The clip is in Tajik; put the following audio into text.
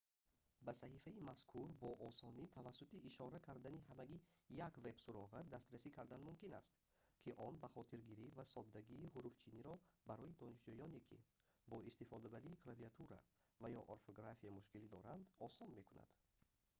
ба саҳифаи мазкур бо осонӣ тавассути ишора кардани ҳамагӣ як веб-суроға дастрасӣ кардан мумкин аст ки он бахотиргирӣ ва соддагии ҳуруфчиниро барои донишҷӯёне ки бо истифодабарии клавиатура ва ё орфография мушкилӣ доранд осон мекунад